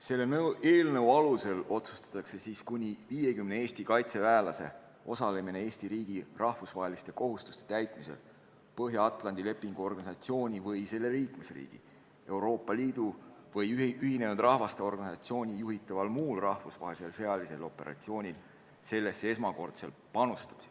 Selle eelnõu alusel otsustatakse kuni 50 Eesti kaitseväelase osalemine Eesti riigi rahvusvaheliste kohustuste täitmisel Põhja-Atlandi Lepingu Organisatsiooni või selle liikmesriigi, Euroopa Liidu või Ühinenud Rahvaste Organisatsiooni juhitaval muul rahvusvahelisel sõjalisel operatsioonil sellesse esmakordsel panustamisel.